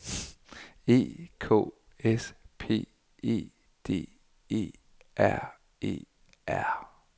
E K S P E D E R E R